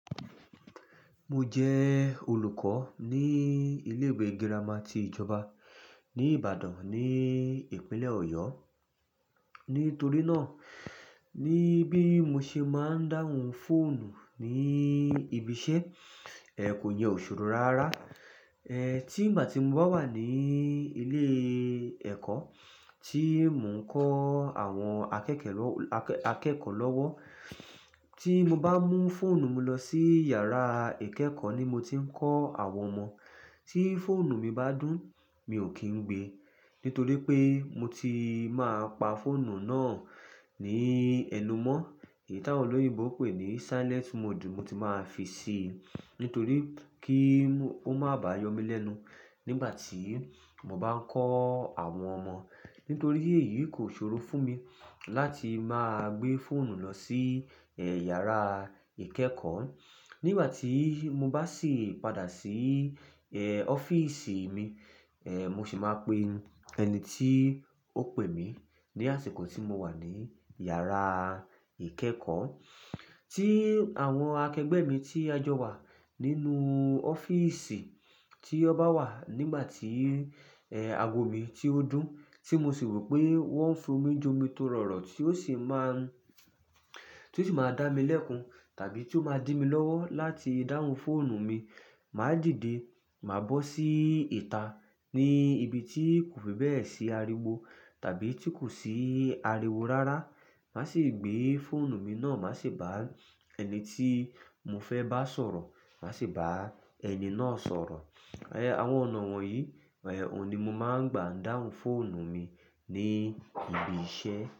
Mo jẹ olùkọ́ ní ilé ìwé girama tí ìjọba ní Ìbàdàn ní ìpínlẹ̀ Ọ̀yọ́. Nítorí náà, níbí mo ṣe máa ń dáhùn fóònù ní ibi iṣẹ́, ẹ kò yẹn ò ṣòrò rárá. Ẹ tí ìgbá ti ń bà wa ní ilé ẹ̀kọ́, tí mò ń kọ́ àwọn akẹ́kẹ̀ lọ́, akẹ́kọ̀ọ́ lọ́wọ́. Tí mo bá mú fóònù mi lọ sí yàrá ìkẹ́kọ̀ọ́ ní mo ti ń kọ́ àwọn ọmọ, tí fóònù mi bá dún, mi ò kín gbé. Nítorí pé mo ti máa pa fóònù náà ní ẹnu mọ́. Èyí táwọn olóyìnbó pè ní silent mode mo ti máa fi sí i. Nítorí kí ó má bá yọ mí lẹ́nu nígbà tí mo bá ń kọ́ àwọn ọmọ. Nítorí èyí kò ṣòro fún mi láti máa gbé fóònù lọ sí, yàrá ìkẹ́kọ̀ọ́. Nígbà tí mo bá sì padà sí, ọ́fíísì mi, mo sì máa pe ẹni tí ó pè mí ní àsìkò tí mo wà ní yàrá ìkẹ́kọ̀ọ́. Tí àwọn akẹgbẹ́ mi tí a jọ wà nínú ọ́fíísì, tí ọ bá wà nígbà tí, ago mi ti ó dún, tí mo sì rò pé wọ́n ń fún mi jomi torọ̀rọ̀ tí ó sì máa n, tí ó sì máa dá mi lẹ́kun tàbí tí ó máa dí mi lọ́wọ́ láti dáhùn fóònù mi, màá dìde, màá bọ́ sí ìta ní ibi tí kò fi bẹ́ẹ̀ sí ariwo tàbí tí kò sí ariwo rárá. Màá sì gbé fóònù mi náà, màá sì bá ẹni tí mo fẹ́ bá sọ̀rọ̀, màá sì bá ẹni náà sọ̀rọ̀. Ẹ, àwọn ọ̀nà wọ̀nyí, òun ni mo máa ń gbà dáhùn fóònù mi ní ibi iṣẹ́.